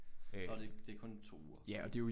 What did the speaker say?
Nå det det kun 2 uger okay